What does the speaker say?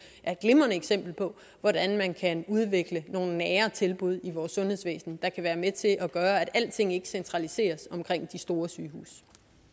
er et glimrende eksempel på hvordan man kan udvikle nogle nære tilbud i vores sundhedsvæsen der kan være med til at gøre at alting ikke centraliseres omkring de store sygehuse